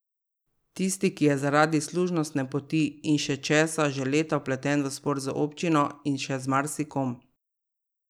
Tisti, ki je zaradi služnostne poti in še česa že leta vpleten v spor z občino in še z marsikom.